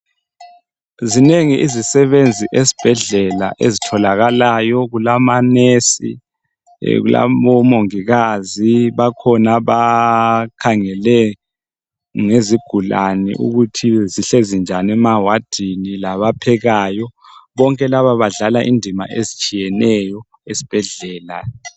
Zinengi izisebenzi esibhedlela ezitholakalayo kulamanesi kulabomongikazi abakhangele ngezigulane ukuthi zinjani emawadini labaphekayo bonke laba badlala indima ezitshiyeneyo esibhedlela